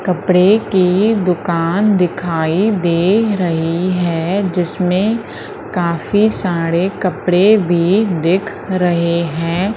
कपड़े की दुकान दिखाई दे रही है जिसमें काफी सारे कपड़े भी दिख रहे है।